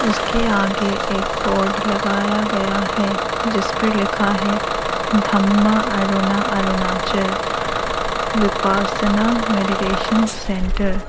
उसके आगे एक बोर्ड लगाया गया है जीस पर लिखा है धम्मा अरुणा अरुणाचल विपाषना मेडिटेशनल सेंटर ।